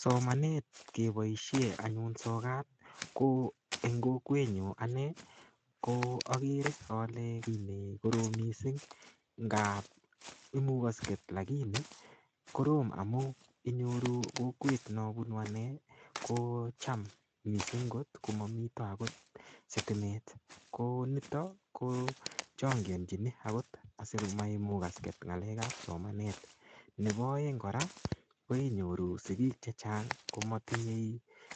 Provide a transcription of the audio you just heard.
Somanet kepoishe anyun sokat ko eng kokwetnyu ane ko akere ale kiy nekorom mising ngap imukosket lakini korom amun inyoru kou kokwet nopunu ane kocham mising kot komamito akot sitimet konito ko chongianchini akot asikomaimukaske ng'alek ap somanet nepo oeng kora koinyoru sikiik chechang komatinyei